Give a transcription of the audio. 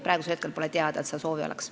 Praegu pole teada, et sellist soovi oleks.